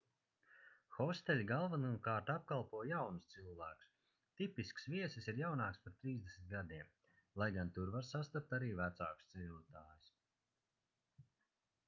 hosteļi galvenokārt apkalpo jaunus cilvēkus tipisks viesis ir jaunāks par trīsdesmit gadiem - lai gan tur var sastapt arī vecākus ceļotājus